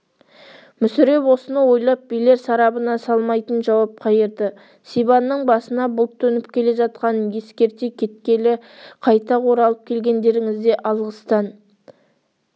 мүсіреп осыны ойлап билер сарабына салмайтын жауап қайырды сибанның басына бұлт төніп келе жатқанын ескерте кеткелі қайта оралып келгендеріңізге алғыстан